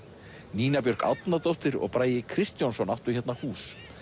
Nína Björk Árnadóttir og Bragi Kristjónsson áttu hérna hús